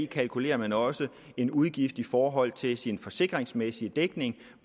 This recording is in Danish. kalkulerer man også en udgift i forhold til sin forsikringsmæssige dækning